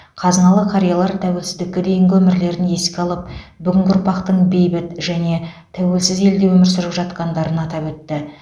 қазыналы қариялар тәуелсіздікке дейінгі өмірлерін еске алып бүгінгі ұрпақтың бейбіт және тәуелсіз елде өмір сүріп жатқандарын атап өтті